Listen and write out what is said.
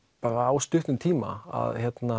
á stuttum tíma